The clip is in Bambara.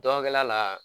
Dɔnkɛla la